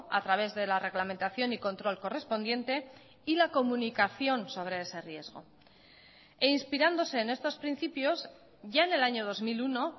a través de la reglamentación y control correspondiente y la comunicación sobre ese riesgo e inspirándose en estos principios ya en el año dos mil uno